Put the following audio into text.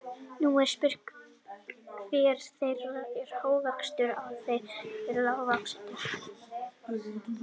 Nú er spurt, hver þeirra er hávaxnastur og hver þeirra er lágvaxnastur?